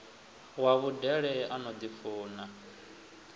wa vhudele a no ḓifuna